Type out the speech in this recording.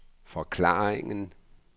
forklaringen